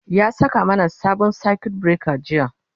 ya saka mana sabon circuit breaker jiya